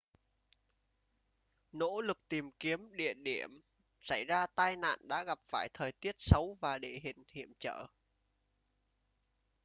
nỗ lực tìm kiếm địa điểm xảy ra tai nạn đã gặp phải thời tiết xấu và địa hình hiểm trở